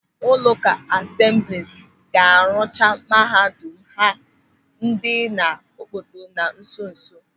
Ụlọụka Asemblis ga-arụcha mahadum ha dị n'Okpoto na nso nso.